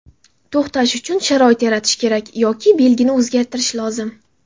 To‘xtash uchun sharoit yaratish kerak yoki belgini o‘zgartirish lozim.